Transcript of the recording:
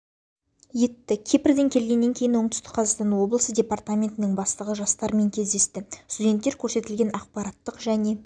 етті кипрден келгеннен кейін оңтүстік қазақстан облысы департаментінің бастығы жастармен кездесті студенттер көрсетілген ақпараттық және